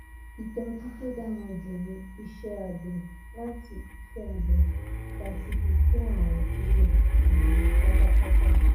itoju to dara ju ni ise abe lati ise abe lati fí ko arun kuro um patapata